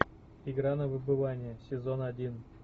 игра на выбывание сезон один